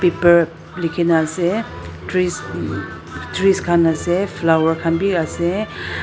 pepper likhina ase trees trees khan ase flower khan biaase